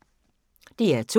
DR2